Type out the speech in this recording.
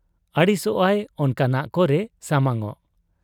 ᱟᱹᱲᱤᱥᱚᱜ ᱟᱭ ᱚᱱᱠᱟᱱᱟᱜ ᱠᱚᱨᱮ ᱥᱟᱢᱟᱝᱚᱜ ᱾